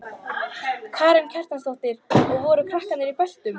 Karen Kjartansdóttir: Og voru krakkarnir í beltum?